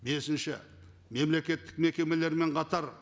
бесінші мемлекеттік мекемелермен қатар